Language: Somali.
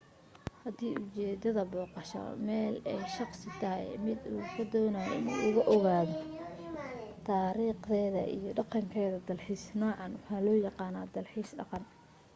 hadii ujeedada booqasho meel ee shaqsi tahay mid uu ku doonayo in uu ku ogaado taarikhdeeda iyo dhaqankeda dalxiiska nuucan waxaa loo yaqaan dalxiis dhaqan